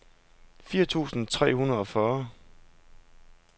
firs tusind tre hundrede og fyrre